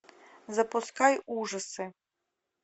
запускай ужасы